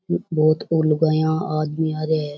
बहुत लुगायाँ आदमी आ रहा है।